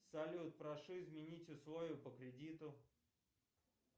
салют прошу изменить условия по кредиту